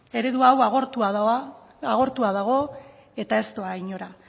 eredu hau agortua dago eta ez doa inora